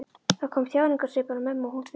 Það kom þjáningarsvipur á mömmu og hún stundi.